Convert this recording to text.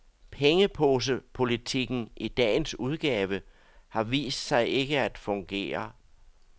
Pengeposepolitikken i dagens udgave har vist sig ikke at fungere.